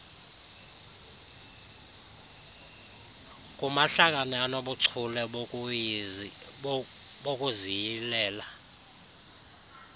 kumahlakani anobuchule bokuziyilela